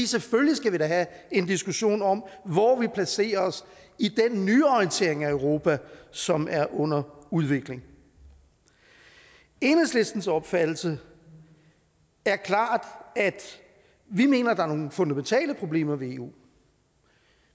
selvfølgelig skal vi da have en diskussion om hvor vi placerer os i den nyorientering af europa som er under udvikling enhedslistens opfattelse er klart at vi mener at der er nogle fundamentale problemer ved eu